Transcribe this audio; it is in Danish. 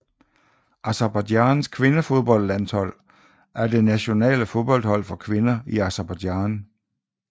Aserbajdsjans kvindefodboldlandshold er det nationale fodboldhold for kvinder i Aserbajdsjan